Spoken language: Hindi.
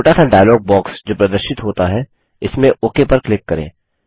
छोटा सा डायलॉग बॉक्स जो प्रदर्शित होता है इसमें ओक पर क्लिक करें